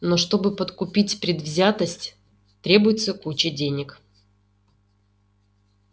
но чтобы подкупить предвзятость требуется куча денег